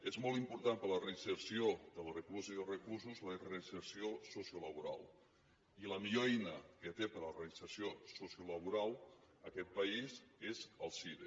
és molt important per a la reinserció de les recluses i els reclusos la reinserció sociolaboral i la millor eina que té per a la reinserció sociolaboral aquest país és el cire